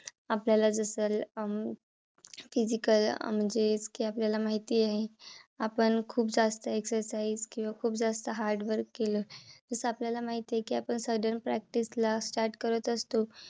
आपल्याला जसं अं physical अं म्हणजे कि आपल्याला माहिती आहे. आपण खूप जास्त exercise किंवा खूप जास्त hadrwork केलं. जसं आपल्याला माहिती आहे. कि आपण sudden practice ला start करत असतो.